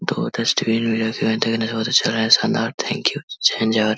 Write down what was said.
दो डस्टबिन बोहोत अच्छा शानदार थैंक यू --